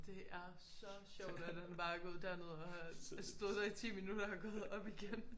Det er så sjovt at han bare er gået derned og har stået der i 10 minutter og gået op igen